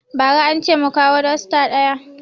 Ba ra ance mu kawo dosta ɗaɗaya